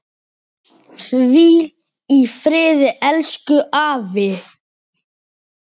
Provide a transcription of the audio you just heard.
Hvíl í friði elsku afi.